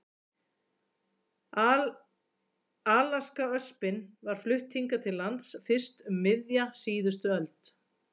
Alaskaöspin var flutt hingað til lands fyrst um miðja síðustu öld.